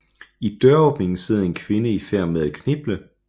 I døråbningen sidder en kvinde i færd med at kniple